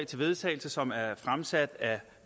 til vedtagelse som er fremsat af